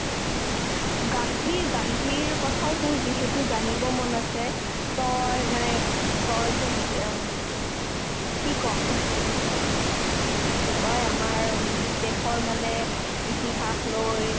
গান্ধীৰ গান্ধীৰ কথাওতো যিহেতু জানিব মন আছে তই মানে তইতো যি অ কি ক'ম কি কই আমাৰ উম দেশৰ মানে ইতিহাস লৈ